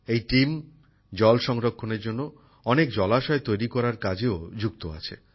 এই দলটি জল সংরক্ষণের জন্য অনেক জলাশয় তৈরি করার কাজেও যুক্ত আছে